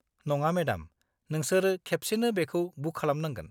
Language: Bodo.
नङा मेडाम, नोंसोर खेबसेनो बेखौ बुक खालामनांगोन।